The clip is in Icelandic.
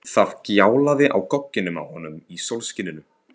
Það gljáði á gogginn á honum í sólskininu.